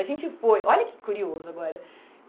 A gente foi, olha que curioso agora.